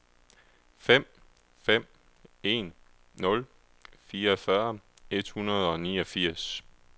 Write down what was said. fem fem en nul fireogfyrre et hundrede og niogfirs